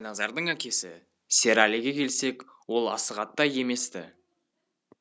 ал қайназардың әкесі серәліге келсек ол асығаттай емес ті